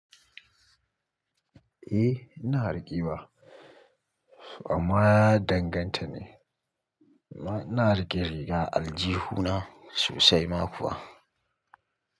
Eh ina riƙewa amma ya danganta ne. Ina riqe riga a aljihuna sosaima kuwa.